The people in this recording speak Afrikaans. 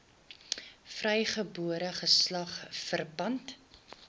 vrygebore geslag verpand